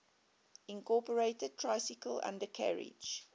incorporated tricycle undercarriage